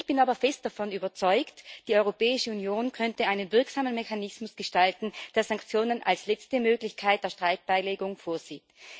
Ich bin aber fest davon überzeugt Die Europäische Union könnte einen wirksamen Mechanismus gestalten, der Sanktionen als letzte Möglichkeit der Streitbeilegung vorsieht.